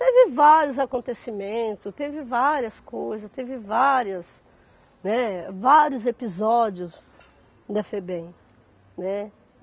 Teve vários acontecimentos, teve várias coisas, teve várias, né, vários episódios da Febem, né.